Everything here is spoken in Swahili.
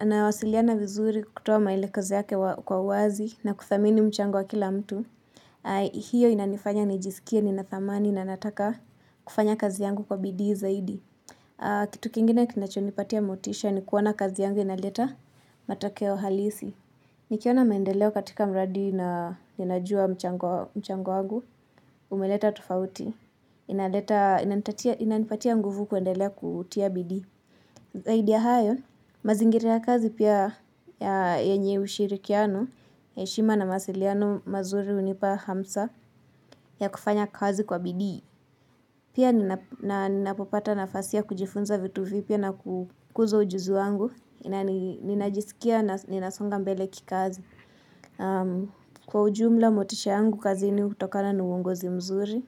Anawasiliana vizuri kutoa maelekezo yake kwa uwazi na kudhamini mchango wa kila mtu. Hio inanifanya nijisikie, nina thamani na nataka kufanya kazi yangu kwa bidii zaidi. Kitu kingine kinachonipatia motisha ni kuona kazi yangu inaleta matokeo halisi. Nikiona maendeleo katika mradi na ninajua mchango wangu, umeleta tufauti, inanipatia nguvu kuendelea kutia bidi. Zaidi ya hayo, mazingira ya kazi pia ya yenye ushirikiano, heshima na mawasiliano mazuri hunipa hamsa ya kufanya kazi kwa bidii. Pia ninapopata nafasi ya kujifunza vitu vipya na kukuza ujuzi wangu, ninajisikia na ninasonga mbele kikazi. Kwa ujumla motisha yangu kazini hutokana ni uongozi mzuri.